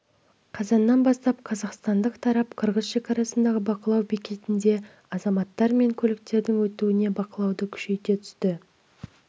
қазаннан бастап қазақстандық тарап қырғыз шекарасындағы бақылау бекетінде азаматтар мен көліктердің өтуіне бақылауды күшейте түсті